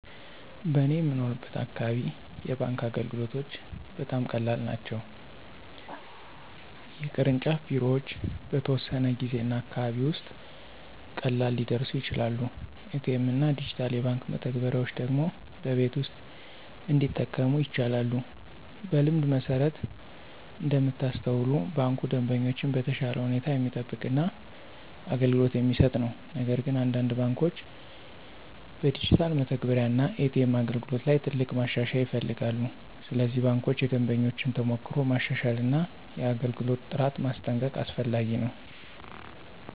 በእኔ የምኖርበት አካባቢ የባንክ አገልግሎቶች በጣም ቀላል ናቸው። የቅርንጫፍ ቢሮዎች በተወሰነ ጊዜ እና አካባቢ ውስጥ ቀላል ሊደርሱ ይችላሉ። ኤ.ቲ.ኤም እና ዲጂታል የባንክ መተግበሪያዎች ደግሞ በቤት ውስጥ እንዲጠቀሙ ይቻላሉ። በልምድ መሠረት እንደምታስተውሉ ባንኩ ደንበኞችን በተሻለ ሁኔታ የሚጠብቅ እና አገልግሎት የሚሰጥ ነው። ነገር ግን አንዳንድ ባንኮች በዲጂታል መተግበሪያ እና ኤ.ቲ.ኤም አገልግሎት ላይ ትልቅ ማሻሻያ ይፈልጋሉ። ስለዚህ ባንኮች የደንበኞችን ተሞክሮ ማሻሻል እና የአገልግሎት ጥራት ማስጠንቀቅ አስፈላጊ ነው።